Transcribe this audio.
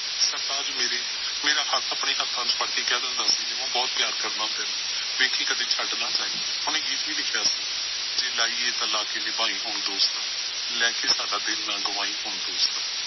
ਸਰਤਾਜ ਮੇਰੇ ਮੇਰਾ ਹੱਥ ਆਪਣੇ ਹੱਥਾਂ ਚ ਫੜਕੇ ਕਹਿ ਦਿੰਦਾ ਸੀ ਨਿੰਮੋ ਬਹੁਤ ਪਿਆਰ ਕਰਦਾ ਤੈਨੂੰ। ਵੇਖੀਂ ਕਦੇ ਛੱਡ ਨਾ ਜਾਈਂ, ਉਹਨੇ ਗੀਤ ਵੀ ਲਿਖਿਆ ਸੀ। ਜੇ ਲਾਈ ਐ ਤਾਂ ਲਾ ਕੇ ਨਿਭਾਈਂ ਹੁਣ ਦੋਸਤਾ, ਲੈ ਕੇ ਸਾਡਾ ਦਿਲ ਨਾ ਗਵਾਈਂ ਹੁਣ ਦੋਸਤਾ।